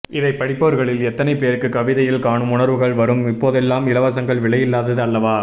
இதைப்படிப்பவர்களில் எத்தனை பேருக்கு கவிதையில் காணும் உணர்வுகள் வரும் இப்போதெல்லாம் இலவசங்கள் விலையில்லாதது அல்லவா